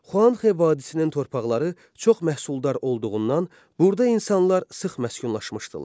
Xuanxə vadisinin torpaqları çox məhsuldar olduğundan burada insanlar sıx məskunlaşmışdılar.